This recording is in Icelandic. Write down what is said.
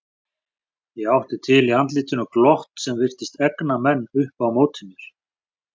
Ég átti til í andlitinu glott sem virtist egna menn upp á móti mér.